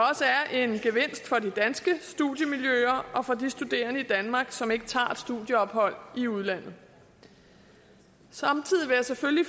er en gevinst for de danske studiemiljøer og for de studerende i danmark som ikke tager et studieophold i udlandet samtidig vil jeg selvfølgelig